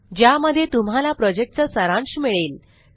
ज्यामध्ये तुम्हाला प्रॉजेक्टचा सारांश मिळेल